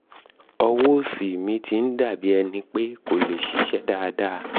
ọwọ́ òsì mi ti ń dà bí ẹni pé kò lè ṣiṣẹ́ dáadáa